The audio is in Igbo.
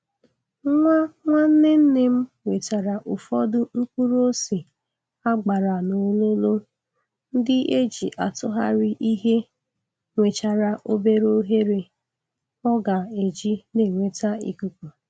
Nwa nwanne nne m wetara ufọdụ mkpụrụ ose a gbara n'ololo ndị e ji atugharị ihe nwechara obere oghere o ga-eji na-enweta ikuku.